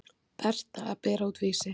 Berta að bera út Vísi.